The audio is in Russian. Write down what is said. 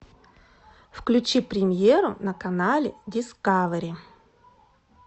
включи премьеру на канале дискавери